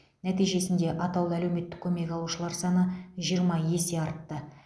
нәтижесінде атаулы әлеуметтік көмек алушылар саны жиырма есе артты